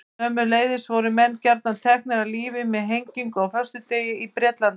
Sömuleiðis voru menn gjarnan teknir af lífi með hengingu á föstudegi í Bretlandi.